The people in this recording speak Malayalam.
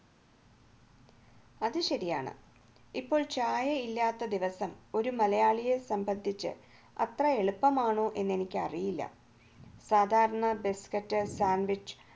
അത് ശരിയാണ് ഇപ്പോൾ ചായ ഇല്ലാത്ത ദിവസം ഒരു മലയാളിയെ സംബന്ധിച്ച് അത്ര എളുപ്പമാണോ എന്ന് എനിക്കറിയില്ല സാധാരണ biscuit sandwich